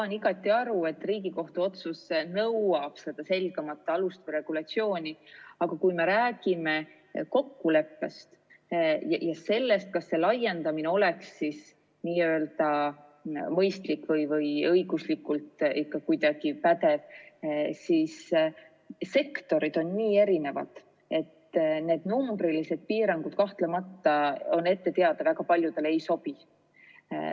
Saan igati aru, et Riigikohtu otsus nõuab selgemat alust ja regulatsiooni, aga kui me räägime kokkuleppest ja sellest, kas laiendamine oleks mõistlik või õiguslikult pädev, siis sektorid on nii erinevad, et need numbrilised piirangud kahtlemata väga paljudele ei sobi.